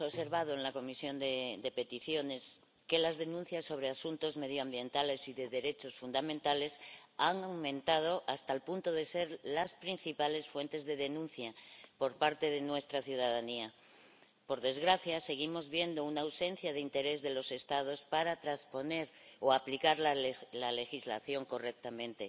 Señor presidente, durante este último año hemos observado en la Comisión de Peticiones que las denuncias sobre asuntos medioambientales y derechos fundamentales han aumentado hasta el punto de ser las principales fuentes de denuncia por parte de nuestra ciudadanía. Por desgracia, seguimos viendo una ausencia de interés de los Estados para trasponer o aplicar la legislación correctamente.